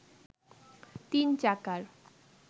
তিন চাকার